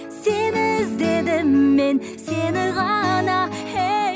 сені іздедім мен сені ғана ей